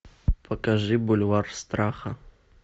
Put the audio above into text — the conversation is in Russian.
покажи бульвар страха